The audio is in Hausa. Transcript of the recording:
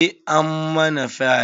Eh, ammana fyae.